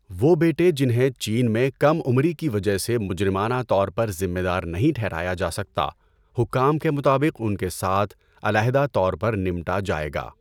وہ بیٹے جنہیں چین میں کم عمری کی وجہ سے مجرمانہ طور پر ذمہ دار نہیں ٹھہرایا جا سکتا، حکام کے مطابق ان کے ساتھ 'علیحدہ طور پر نمٹا جائے گا'۔